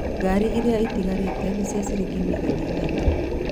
Ngari iria ĩtigarĩte nĩ cia ciringi mirioni ithatũ